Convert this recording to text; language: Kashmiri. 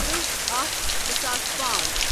ترٕٛہ اکھَ زٕساس پانژھ